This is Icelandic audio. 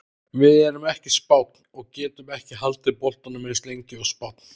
Við erum ekki Spánn og getum ekki haldið boltanum eins lengi og Spánn.